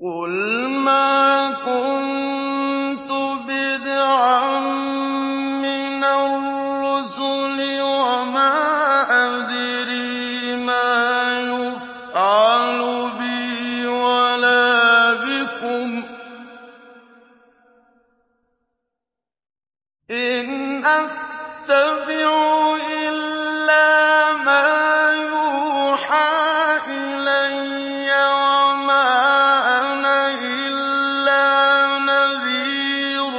قُلْ مَا كُنتُ بِدْعًا مِّنَ الرُّسُلِ وَمَا أَدْرِي مَا يُفْعَلُ بِي وَلَا بِكُمْ ۖ إِنْ أَتَّبِعُ إِلَّا مَا يُوحَىٰ إِلَيَّ وَمَا أَنَا إِلَّا نَذِيرٌ